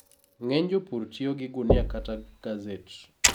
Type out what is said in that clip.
Ng'eny jopur tiyo gi gunia kata gaset